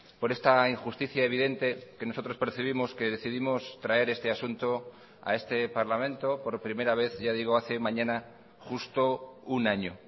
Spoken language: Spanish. por esta injusticia evidente que nosotros percibimos que decidimos traer este asunto a este parlamento por primera vez ya digo hace mañana justo un año